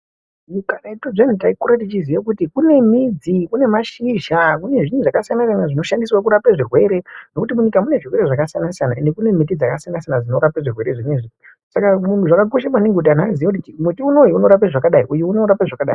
Karetu zviyani taikura techiziya kuti kune midzi, kune mashizha, kune zvinhu zvakasiyana-siyana zvinoshandiswe kurapa zvirwere ngekuti munyika mune zvirwere zvakasiyana-siyana ende kune miti dzakasiyana-siyana dzinorapa zvirwere zvinezvi saka zvakakosha maningi kuti antu aziye kuti muti uyu unorapa zvakadai uyu unorapa zvakadai.